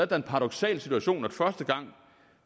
da en paradoksal situation at første gang